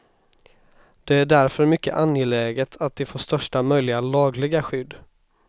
Det är därför mycket angeläget att de får största möjliga lagliga skydd.